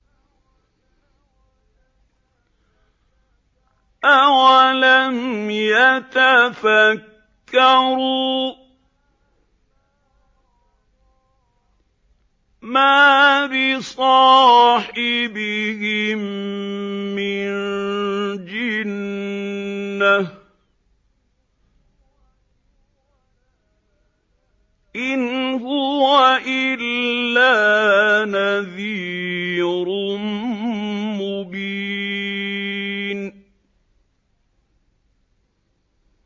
أَوَلَمْ يَتَفَكَّرُوا ۗ مَا بِصَاحِبِهِم مِّن جِنَّةٍ ۚ إِنْ هُوَ إِلَّا نَذِيرٌ مُّبِينٌ